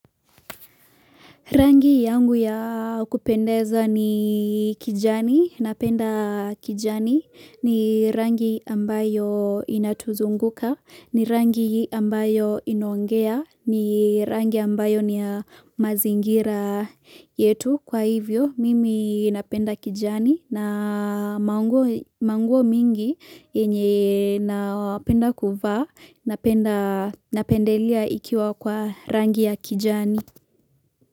Rangi yangu ya kupendeza ni kijani, napenda kijani, ni rangi ambayo inatuzunguka, ni rangi ambayo inoangea, ni rangi ambayo ni mazingira yetu. Kwa hivyo, mimi napenda kijani na manguo mingi yenye napenda kuva, napenda napendelea ikiwa kwa rangi ya kijani.